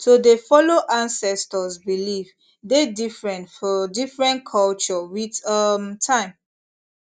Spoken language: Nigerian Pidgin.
to dey follow ancestors beliefs deh different fir different culture with um time